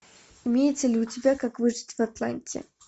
имеется ли у тебя как выжить в атланте